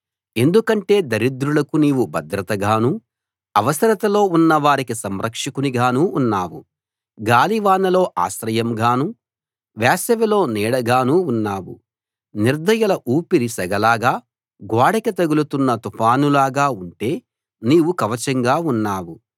ఎందుకంటే దరిద్రులకు నీవు భద్రతగాను అవసరతలో ఉన్నవారికి సంరక్షకునిగానూ ఉన్నావు గాలివానలో ఆశ్రయంగాను వేసవిలో నీడగానూ ఉన్నావు నిర్దయుల ఊపిరి సెగలాగా గోడకి తగులుతున్న తుఫానులాగా ఉంటే నీవు కవచంగా ఉన్నావు